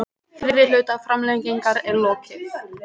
Fyrri hluta framlengingar er lokið